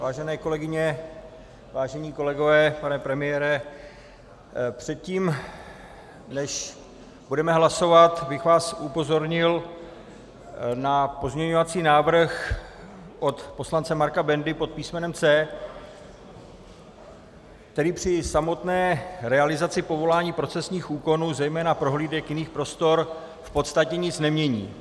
Vážené kolegyně, vážení kolegové, pane premiére, předtím než budeme hlasovat, bych vás upozornil na pozměňovací návrh od poslance Marka Bendy pod písmenem C, který při samotné realizaci povolování procesních úkonů, zejména prohlídek jiných prostor, v podstatě nic nemění.